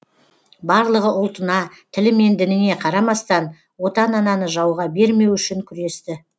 барлығы ұлтына тілі мен дініне қарамастан отан ананы жауға бермеу үшін күресті